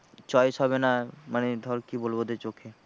Choice হবে না মানে ধর কি বলবো ওদের চোখে